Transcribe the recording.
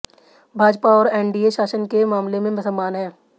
भाजपा और एनडीए शासन के मामले में समान है